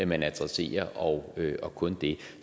man adresserer og og kun det